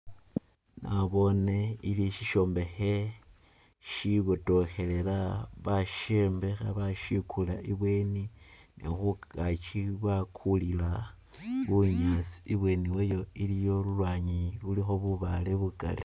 Nabone ili shi shombekhe shibotokhelela bashombekha bashikula ibweni ne khungaki bakulila bunyaasi, ibweni wayo iliyo lulwanyi lulikho bubaale bukali